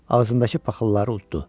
Ağzındakı paxılları utdu.